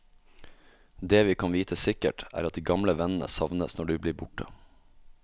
Det vi kan vite sikkert, er at de gamle vennene savnes når de blir borte.